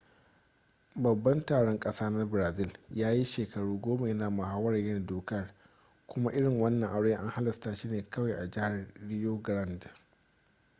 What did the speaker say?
babban taron ƙasa na brazil ya yi shekaru goma ya na muhawarar yin dokar kuma irin wannan aure an halasta shi ne kawai a jihar rio grande